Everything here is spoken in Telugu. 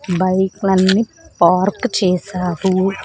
బైక్ లన్ని పార్క్ చేశారు.